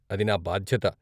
అది నా బాధ్యత.